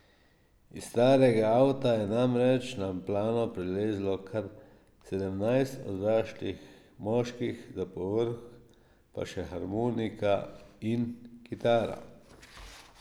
Iz starega avta je namreč na plano prilezlo kar sedemnajst odraslih moških, za povrh pa še harmonika in kitara!